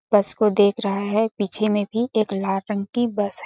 बस को देख रहा है पीछे में भी एक लाल रंग की बस हैं।